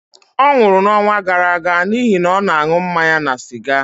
ọ nwụrụ n'ọnwa gara aga n'ihi na ọ na-aṅụ mmanya na siga